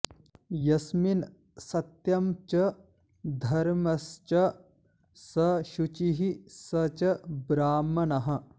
यस्मिन् सत्यं च धर्मस्च स शुचिः स च ब्राह्मणः